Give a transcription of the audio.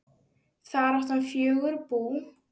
Þar átti hann fjögur bú.